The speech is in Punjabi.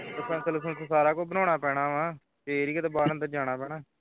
ਲਸੰਸ ਲੂਸੰਸ ਸਾਰਾ ਕੁਝ ਬਣਾਉਣਾ ਪੈਣਾ ਹੈ ਫੇਰ ਹੀ ਕਿਧਰੇ ਬਾਹਰ ਅੰਦਰ ਜਾਣਾ ਪੈਣਾ ਹੈ